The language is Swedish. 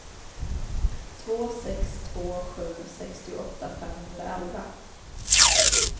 två sex två sju sextioåtta femhundraelva